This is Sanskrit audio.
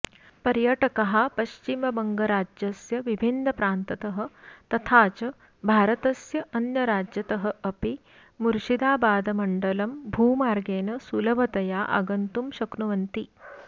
पर्यटकाःपश्चिमबङ्गराज्यस्य विभिन्नप्रान्ततः तथा च भारतस्य अन्यराज्यतः अपि मुर्शिदाबादमण्डलं भूमार्गेन सुलभतया आगन्तुं शक्नुवन्ति